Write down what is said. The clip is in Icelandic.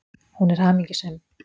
Hún er hamingjusöm.